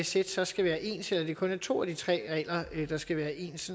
sæt så skal være ens eller det kun er to af de tre regler der skal være ens